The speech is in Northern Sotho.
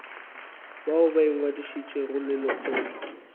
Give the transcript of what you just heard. bao ba ingwadišitšego le lekgotla